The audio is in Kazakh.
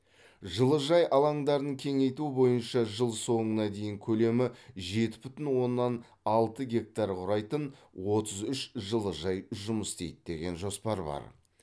жылыжай алаңдарын кеңейту бойынша жыл соңына дейін көлемі жеті бүтін оннан алты гектар құрайтын отыз үш жылыжай жұмыс істейді деген жоспар бар